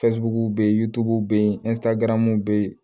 be yen togow be yen be yen